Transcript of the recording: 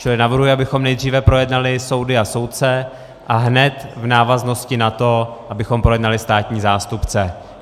Čili navrhuji, abychom nejdříve projednali soudy a soudce a hned v návaznosti na to abychom projednali státní zástupce.